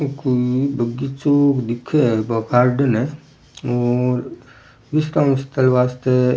ये कोई बगीचों दिखे है कोई गार्डन है और इस वास्ते --